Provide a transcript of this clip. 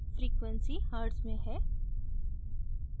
frequency hertz में है